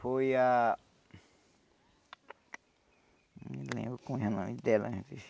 Foi a... Não lembro qual era o nome dela antes.